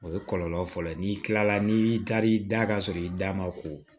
O ye kɔlɔlɔ fɔlɔ ye n'i kilala n'i taar'i da ka sɔrɔ i da ma ko